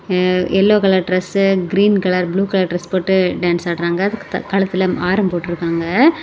ம்ம் yellow colour dress green colour blue colour dress போட்டு dance ஆடுறாங்க கழுத்துல ஆரம் போட்டிருக்காங்க.